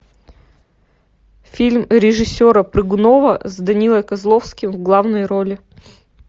фильм режиссера прыгунова с данилой козловским в главной роли